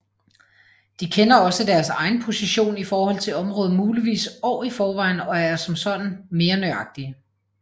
De kender også deres egen position i forhold til området muligvis år i forvejen og er som sådan mere nøjagtige